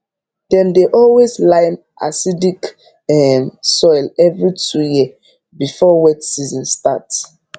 dem dey always lime acidic um soil every two year before wet season start